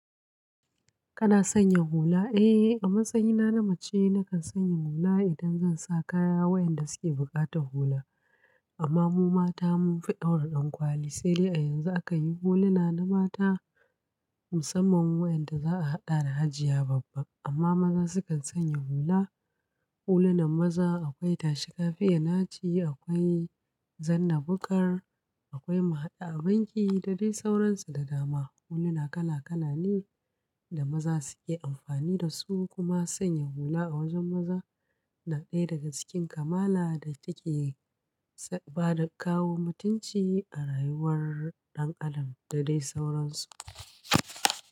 Kana sanya hula? Eh, a matsayina na mace nakan sanya hula idan zan sa kaya waɗanda suke buƙatar hula. Amma mu mata mun fi ɗaura ɗankwali, sai dai yanzu aka yi huluna na mata musamman waɗanda za a haɗa da hajiya babba. Amma maza sukan sanya hula. Hulunan maza akwai tashi kafiya naci, akwai zanna bukar, akwai mahaɗa abanki da dai sauransu da dama. Huluna kala kala ne da maza suke amfani da su, kuma sanya hula a wajen maza na ɗaya daga cikin kamala da take bada kawo mutunci a rayuwar ɗan adam da dai sauransu.